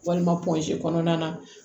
Walima kɔnɔna na